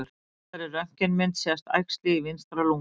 Á þessari röntgenmynd sést æxli í vinstra lunga.